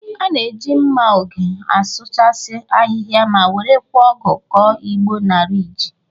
A na-eji nma oge asụchasị ahịha ma werekwa ọgụ kọ igbo na riji.